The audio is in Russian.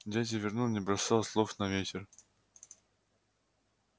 дядя вернон не бросал слов на ветер